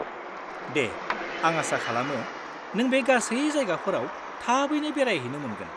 -दे, आं आसा खालामो नों बे गासै जायगाफोराव थाबैनो बेरायहैनो मोनगोन।